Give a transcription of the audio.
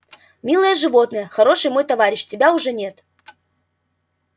милое животное хороший мой товарищ тебя уже нет